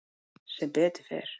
Sem betur fer.